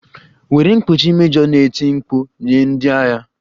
Were mkpuchi! mejọ na-eti mkpu nye ndị agha